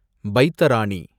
பைத்தராணி